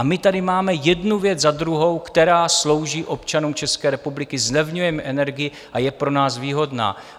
A my tady máme jednu věc za druhou, která slouží občanům České republiky, zlevňujeme energii a je pro nás výhodná.